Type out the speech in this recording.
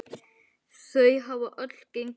Þau hafa öll gengið vel.